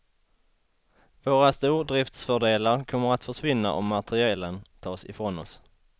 Våra stordriftsfördelar kommer att försvinna om materielen tas ifrån oss.